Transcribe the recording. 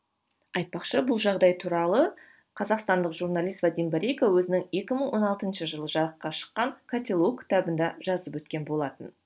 айтпақшы бұл жағдай туралы қазақстандық журналист вадим борейко өзінің екі мың он алтыншы жылы жарыққа шыққан котелок кітабында жазып өткен болатын